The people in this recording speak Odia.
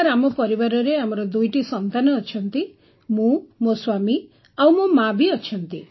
ସାର୍ ଆମ ପରିବାରରେ ଆମର ଦୁଇଟି ସନ୍ତାନ ଅଛନ୍ତି ମୁଁ ମୋ ସ୍ୱାମୀ ଆଉ ମୋ ମା ଅଛନ୍ତି